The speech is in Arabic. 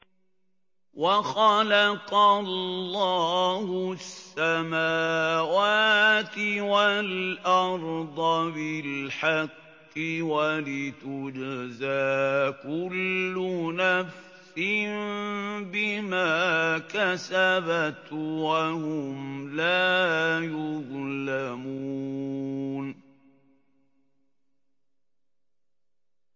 وَخَلَقَ اللَّهُ السَّمَاوَاتِ وَالْأَرْضَ بِالْحَقِّ وَلِتُجْزَىٰ كُلُّ نَفْسٍ بِمَا كَسَبَتْ وَهُمْ لَا يُظْلَمُونَ